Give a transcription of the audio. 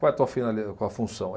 Qual é a tua finali, qual função?